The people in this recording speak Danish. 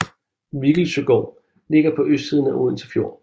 Viggelsøgård ligger på østsiden af Odense Fjord